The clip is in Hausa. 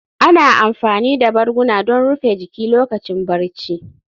Ana amfani da barguna don rufe jiki lokacin barci